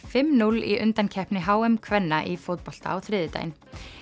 fimm núll í undankeppni h m kvenna í fótbolta á þriðjudaginn